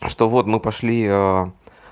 что вот мы пошли